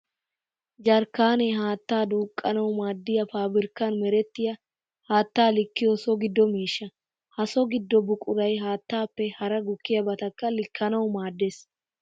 Jarkkaanee haattaa duuqqanawu maadiya paabirkkan merettiya haatta likkiyo so gido miishsha. Ha so gido buquray haattappe hara gukkiyabattakka likkanawu maades.